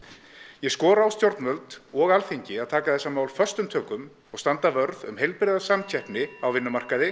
ég skora á stjórnvöld og Alþingi að taka þessi mál föstum tökum og standa vörð um heilbrigða samkeppni á vinnumarkaði